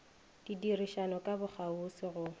di dirišana ka bokgauswi go